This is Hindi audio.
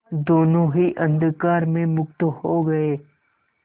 दोेनों ही अंधकार में मुक्त हो गए